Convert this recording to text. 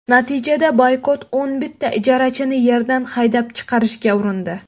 Natijada Boykot o‘n bitta ijarachini yerdan haydab chiqarishga urindi.